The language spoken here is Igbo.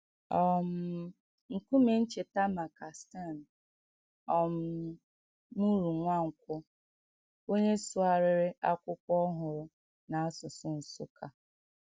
um Nkúmè ncheta maka Stan um Murunwankwo, onye sụgharịrị “Ákwụ́kwọ Ọhụrụ” n’asụsụ Nsukka.